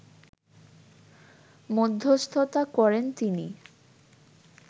মধ্যস্থতা করেন তিনি